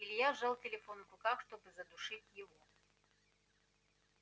илья сжал телефон в руках чтобы задушить его